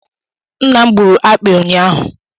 Nna m gburu akpị ụnyahụ